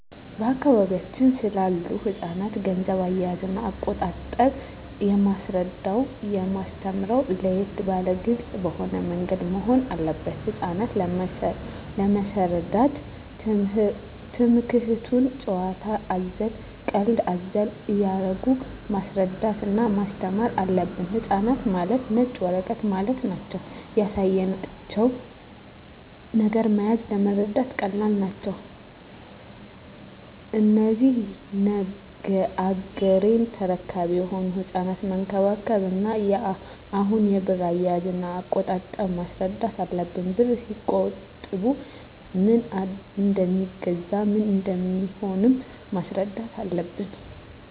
በአካባቢያችን ስላሉ ህጻናት ገንዘብ አያያዝና አቆጣጠብ የማስረዳውና የማስተምረው ለየት ባለና ግልጽ በሆነ ምንገድ መሆን አለበት ህጻናት ለመሰረዳት ትምክህቱን ጭዋታ አዘል ቀልድ አዘል እያረጉ ማስረዳት እና ማስተማር አለብን ህጻናት ማለት ነጭ ወረቀት ማለት ናቸው ያሳያቸው ነገር መያዝ ለመረዳት ቀላል ናቸው እነዚህ ነገ ያገሬ ተረካቢ የሆኑ ህጻናትን መንከባከብ እና አሁኑ የብር አያያዥ እና አቆጣጠብ ማስረዳት አለብን ብርን ሲቆጥቡ ምን እደሜገዛ ምን እንደሚሆኑም ማስረዳት አለብን